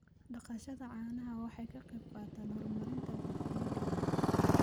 Dhaqashada caanaha waxay ka qayb qaadataa horumarinta bulshooyinkayada.